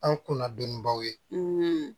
An kunna dɔɔnin baw ye